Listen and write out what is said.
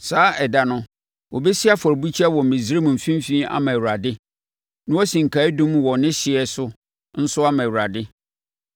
Saa ɛda no, wɔbɛsi afɔrebukyia wɔ Misraim mfimfini ama Awurade, na wɔasi nkaeɛdum wɔ ne hyeɛ so nso ama Awurade.